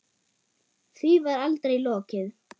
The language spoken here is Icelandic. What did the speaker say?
Því var aldrei lokið.